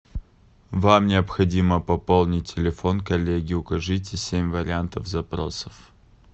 вам необходимо пополнить телефон коллеги укажите семь вариантов запросов